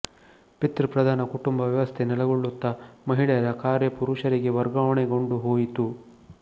ಪಿತೃ ಪ್ರಧಾನ ಕುಟುಂಬ ವ್ಯವಸ್ಥೆ ನೆಲೆಗೊಳ್ಳುತ್ತಾ ಮಹಿಳೆಯರ ಕಾರ್ಯ ಪುರುಷರಿಗೆ ವರ್ಗಾವಣೆಗೊಂಡು ಹೋಯಿತು